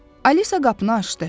Alisa qapını açdı.